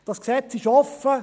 Dieses Gesetz ist offen.